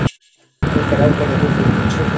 Engar ákvarðanir á fundi ríkisstjórnar